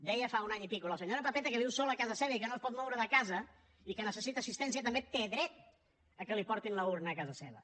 deia fa un any i escaig la senyora pepeta que viu sola a casa seva i que no es pot moure de casa i que necessita assistència també té dret que li portin l’urna a casa seva